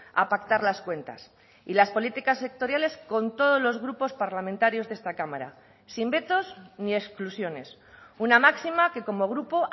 a pactar las cuentas y las políticas sectoriales con todos los grupos parlamentarios de esta cámara sin vetos ni exclusiones una máxima que como grupo